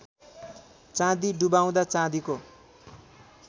चाँदी डुबाउँदा चाँदीको